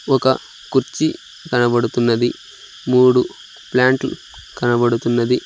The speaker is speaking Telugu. ఒక కుర్చీ కనబడుతున్నది మూడు ప్లాంట్లు కనబడుతున్నది.